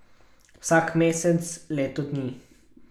Vsak mesec, leto dni!